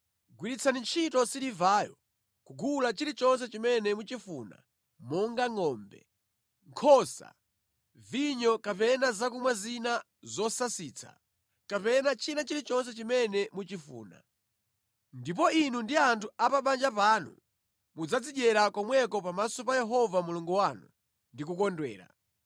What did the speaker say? Gwiritsani ntchito silivayo kugula chilichonse chimene muchifuna monga ngʼombe, nkhosa, vinyo kapena zakumwa zina zosasitsa, kapena china chilichonse chimene muchifuna. Ndipo inu ndi anthu a pa banja panu mudzazidyera komweko pamaso pa Yehova Mulungu wanu ndi kukondwera.